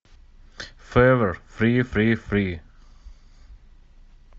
февер фри фри фри